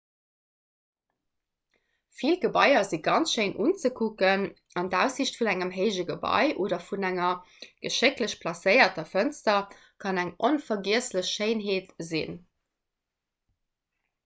vill gebaier si ganz schéin unzekucken an d'aussiicht vun engem héije gebai oder vun enger geschécklech placéierter fënster kann eng onvergiesslech schéinheet sinn